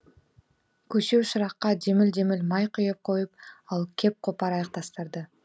көсеу шыраққа деміл деміл май құйып қойып ал кеп қопарайық тастарды